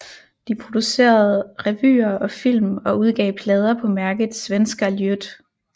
De producerede revyer og film og udgav plader på mærket Svenska Ljud